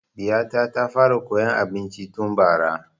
Ɗiya ta ta fara koyan abinci tun bara